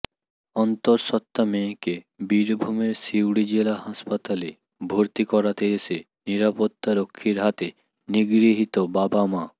অন্তঃসত্ত্বা মেয়েকে বীরভূমের সিউড়ি জেলা হাসপাতালে ভর্তি করাতে এসে নিরাপত্তারক্ষীর হাতে নিগৃহীত বাবা মা